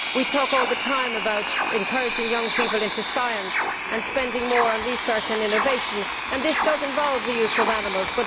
We talk all the time about encouraging young people into science and spending more on research and innovation, and this does involve the use of animals.